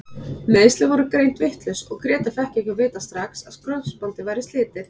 Meiðslin voru greind vitlaus og Grétar fékk ekki að vita strax að krossbandið væri slitið.